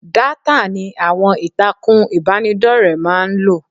Dátà ni àwọn ìtàkùn ìbánidọ́rẹ̀ẹ́ máa ń lò.